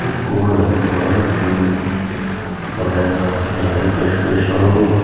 hoilewi banai nah rakhina ase fresh fresh aro --